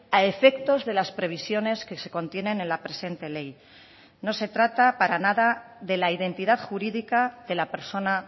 a efectos de las previsiones que se contienen en la presente ley no se trata para nada de la identidad jurídica de la persona